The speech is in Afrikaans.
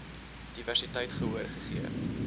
diversiteit gehoor gegee